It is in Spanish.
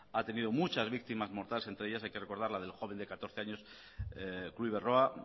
ha tenido muchas víctimas mortales entre ellas hay que recordar la del joven de catorce de la kluivert roa berroa